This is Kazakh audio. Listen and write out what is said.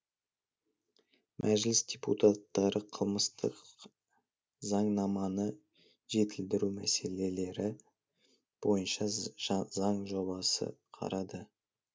мәжіліс депутаттары қылмыстық заңнаманы жетілдіру мәселелері бойынша заң жобасын қарады